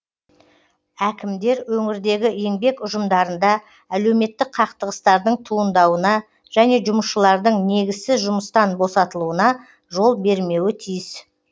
әкімдер өңірдегі еңбек ұжымдарында әлеуметтік қақтығыстардың туындауына және жұмысшылардың негізсіз жұмыстан босатылуына жол бермеуі тиіс